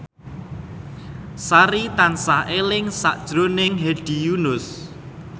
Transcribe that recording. Sari tansah eling sakjroning Hedi Yunus